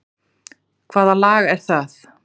Hvaða lag er það?